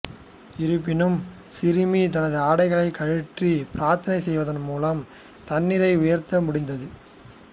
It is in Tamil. இருப்பினும் சிறுமி தனது ஆடைகளைக் கழற்றி பிரார்த்தனை செய்வதன் மூலம் தண்ணீரை உயர்த்த முடிந்தது